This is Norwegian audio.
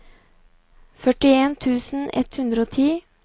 førtien tusen ett hundre og ti